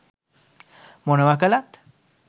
මොනවා කළත්